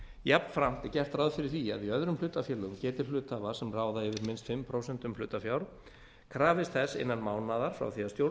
jafnframt er gert ráð fyrir því að í öðrum hlutafélögum geta hluthafar sem ráða yfir minnst fimm prósent hlutafjár krafist þess innan mánaðar frá því stjórn